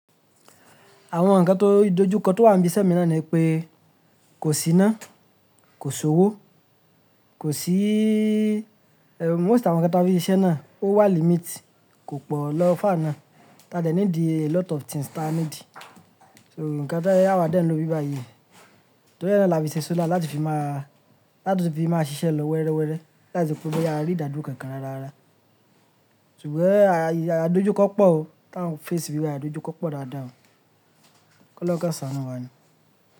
Àwọn ǹkan tó dojú kọ tó wà níbí iṣẹ́ mi náà ni pé kò sí iná, kò sí owó, kò sí, most of àwọn ǹkan ta fi ṣe iṣẹ́ náà ó wà limit, kò pọ̀ lọ́ fàr ná. Taa dẹ̀ needi a lot of things tá needi. So ǹkan tí ẹ́ a wa dẹ̀ ń lo bíbàyí, torí e náà là fi ṣe solar láti fi má, láti fi máa ṣiṣẹ́ lọ wẹ́rẹ́wẹ́rẹ́, láti fi pé boya a rí ìdádúró kankan rárá rárá. Ṣùgbọ́n àì, a dojú kọ́pọ̀ o, táa ń face níbí báyì dojú kọ́pọ̀ dáadáa o. Kọ́loun kan sánu wá ni.